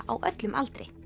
á öllum aldri